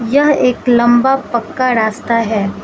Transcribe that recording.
यह एक लंबा पक्का रास्ता है।